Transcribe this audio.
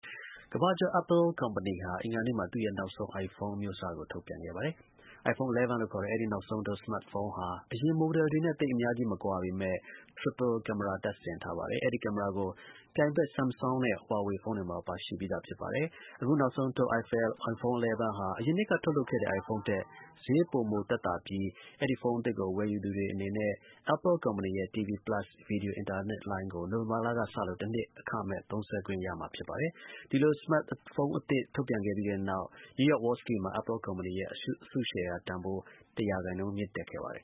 ကမ္ဘာကျော် Apple ကုမ္ပဏီဟာ အဂီါနေ့မှာ သူ့ရဲ့ နောက်ဆုံး iPhone အမျိုးအစားကို ထုတ်ပြန်ခဲ့ပါတယ်။ iPhone 11 လို့ ခေါ်တဲ့ အဲဒီ နောက်ဆုံးထုတ် စမတ်ဖုန်းဟာ အရင် Model တွေနဲ့ သိပ် အများကြီး မကွာပေမဲ့ Triple Camera သုံးဖက်မြင် ကင်မရာကိုတပ်ဆင်ထားပါတယ်။ အဲဒီ ကင်မရာကို ပြိုင်ဘက် ဆမ်ဆောင်းနဲ့ ဟွာဟွေဖုန်းတွေမှာ ပါရှိပြီးသား ဖြစ်ပါတယ်။ အခု နောက်ဆုံးထုတ် iPhone 11 ဟာ အရင်နှစ်က ထုတ်လုပ်ခဲ့တဲ့ iPhone ထက် ဈေးပို သက်သာပြီး အဲဒီ ဖုန်း အသစ်ကို ဝယ်ယူသူတွေ အနေနဲ့ Apple ကုမ္ပဏီရဲ့ TV Plus ဗီဒီယို အင်တာနက်လိုင်းကို နိုဝင်ဘာလကစလို့ တစ်နှစ် အခမဲ့ သုံးစွဲခွင့်ရမှာ ဖြစ်ပါတယ်။ ဒီလို စမတ်ဖုန်း အသစ် ထုတ်ပြန်ကြေညာပြီးတဲ့နောက် နယူးယောက် Wall Street မှာ Apple ကုမ္ပဏီရဲ့ အစုရှယ်ယာ တန်ဖိုး ၁ ရာခိုင်နှုန်း မြင့်တက်ခဲ့ပါတယ်